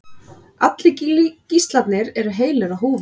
Allir gíslarnir eru heilir á húfi